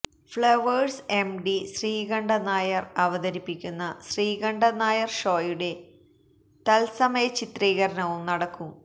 flowers MD Sreekandan Nair അവതരിപ്പിക്കുന്ന ശ്രീകണ്ഠന് നായര് ഷോയുടെ തത്സമയ ചിത്രീകരണവും നടക്കും